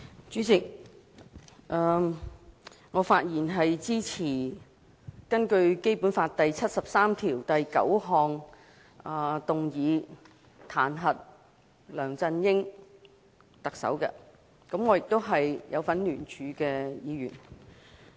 主席，我發言支持根據《基本法》第七十三條第九項動議彈劾特首梁振英，我亦是參與聯署的議員。